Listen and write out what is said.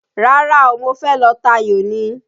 Rárá o, mo fẹ́ lọ tayò ni.